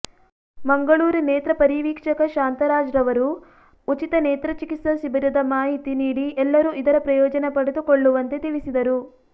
ಮಂಗಳೂರು ನೇತ್ರ ಪರಿವೀಕ್ಷಕ ಶಾಂತರಾಜ್ರವರು ಉಚಿತ ನೇತ್ರ ಚಿಕಿತ್ಸಾ ಶಿಬಿರದ ಮಾಹಿತಿ ನೀಡಿ ಎಲ್ಲರೂ ಇದರ ಪ್ರಯೋಜನ ಪಡೆದುಕೊಳ್ಳುವಂತೆ ತಿಳಿಸಿದರು